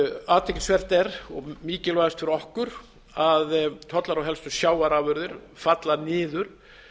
athyglisvert er og mikilvægast fyrir okkur að tollar á helstu sjávarafurðir falla niður